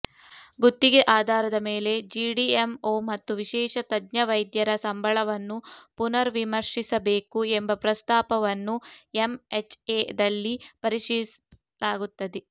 ಗುತ್ತಿಗೆ ಆಧಾರದ ಮೇಲೆ ಜಿಡಿಎಂಓ ಮತ್ತು ವಿಶೇಷ ತಜ್ಞ ವೈದ್ಯರ ಸಂಬಳವನ್ನು ಪುನರ್ವಿಮರ್ಶಿಸಬೇಕು ಎಂಬ ಪ್ರಸ್ತಾಪವನ್ನು ಎಂಎಚ್ಎ ದಲ್ಲಿ ಪರಿಶೀಲಿಸಲಾಗುತ್ತದೆ